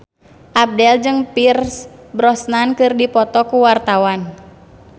Abdel jeung Pierce Brosnan keur dipoto ku wartawan